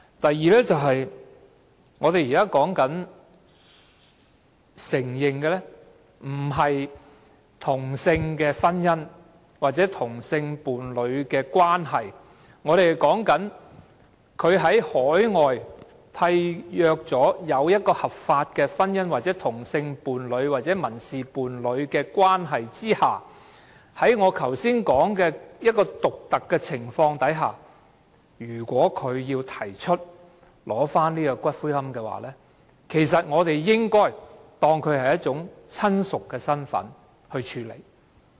第二，我們現在討論的，並不是承認同性婚姻或同性伴侶的關係，而是在海外締約的合法婚姻關係、同性伴侶或民事伴侶關係下，在我前述的獨特情況下，當他們要求領取死者的骨灰時，我們便應該視他們為死者的親屬來處理。